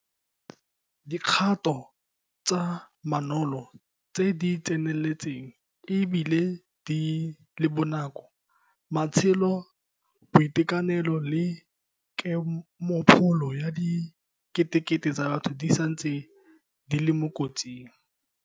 Dikgato tsa namolo tse di tseneletseng e bile di le bonako. Matshelo, boitekanelo le kemopholo ya diketekete tsa batho di santse di le mo kotsing.